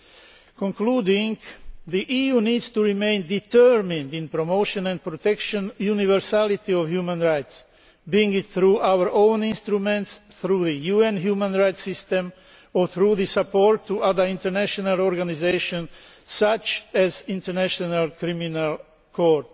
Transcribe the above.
of the process. In conclusion, the EU needs to remain determined in promoting and protecting the universality of human rights, be it through our own instruments, though the UN human rights system or through support to other international organisations such as the International